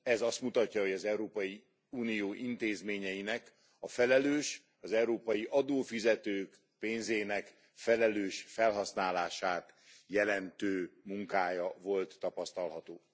Ez azt mutatja, hogy az Európai Unió intézményeinek a felelős, az európai adófizetők pénzének felelős felhasználását jelentő munkája volt tapasztalható.